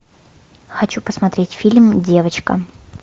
хочу посмотреть фильм девочка